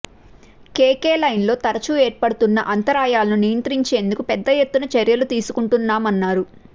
కేకేలైన్లో తరచు ఏర్పడుతున్న అంతరాయాలను నియంత్రించేందుకు పెద్ద ఎత్తున చర్యలు తీసుకుంటున్నామన్నారు